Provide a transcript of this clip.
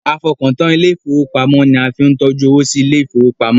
A fọkàn tán ilé ìfowópamọ́ ni a fi ń tọ́jú owó sí ilé ìfowópamọ́.